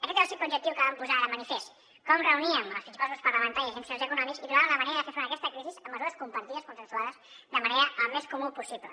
aquest era el simple objectiu que vam posar de manifest com reuníem els principals grups parlamentaris i agents socials i econòmics i trobàvem la manera de fer front a aquesta crisi amb mesures compartides consensuades de manera al més comuna possible